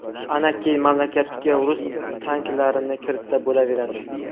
Ana keyin mamlakatga rus tanklarini kiritsa bo‘laveradi.